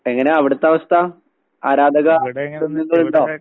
എങ്ങനാ അവിടത്തവസ്ഥ? ആരാധക വൃന്ദങ്ങളിണ്ടോ?